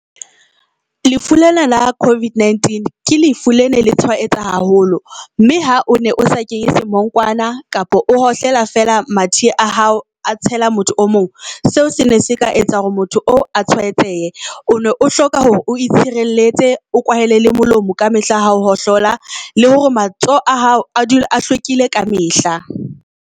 Lefu lena la COVID-19 ke lefu le ne le tshwaetsa haholo. Mme ha o ne o sa kenya semonkwana kapa o hohlela feela, mathe a hao a tshela motho o mong. Seo sene se ka etsa hore motho oo a tshwaetsehe. One o hloka hore o itshireletse, o kwahele le molomo ka mehla hao hohlola, le hore matsoho a hao a dule a hlwekile ka mehla.